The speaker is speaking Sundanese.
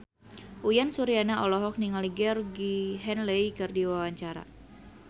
Uyan Suryana olohok ningali Georgie Henley keur diwawancara